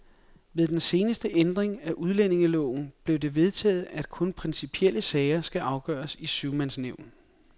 Ved den seneste ændring af udlændingeloven blev det vedtaget, at kun principielle sager skal afgøres i syvmandsnævn.